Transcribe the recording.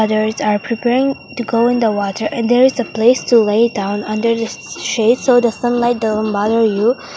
ladies are preparing to go in the water and there is a place to lay down under the s shades of sunlight .